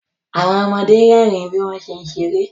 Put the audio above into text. Àwọn ọmọde rẹ́rìn bí wọ́n ṣé ń ṣeré